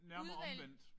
Udvælg